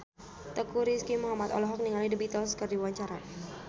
Teuku Rizky Muhammad olohok ningali The Beatles keur diwawancara